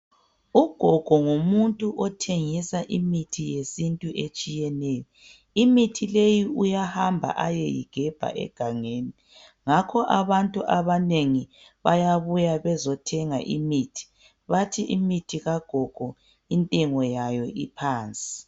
ugogo ngumuntu othengisa imithi yesintu etshiyeneyo imithi leyi uyahamba ayeyigebha egangeni ngakho abantu abanengi bayabuya bezo bezothenga imithi bathi imithi kagogo intengoyayo iphansi